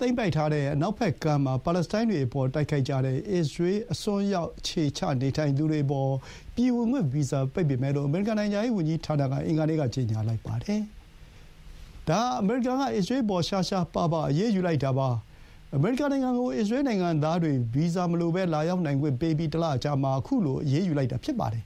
သိမ်းပိုက်ထားတဲ့ အနောက်ဘက်ကမ်းမှာ ပါလက်စတိုင်းတွေကို တိုက်ခိုက်ကြတဲ့ အစ္စရေးအစွန်းရောက် အခြေချနေထိုင်သူတွေအပေါ် ဗီဇာပိတ်မယ်လို့ အမေရိကန် နိုင်ငံခြားရေးဝန်ကြီးဌာနက အင်္ဂါနေ့က ကြေညာလိုက်ပါတယ်။ ဒါဟာ အမေရိကန်က အစ္စရေးအပေါ် ရှားရှားပါးပါး အရေးယူလိုက်တာပါ။ အမေရိကန်နိုင်ငံကို အစ္စရေးနိုင်ငံသားတွေ ဗီဇာမလိုဘဲ လာရောက်နိုင်ခွင့်ပေးပြီး တလအကြာမှာ ခုလို အရေးယူလိုက်တာပါ။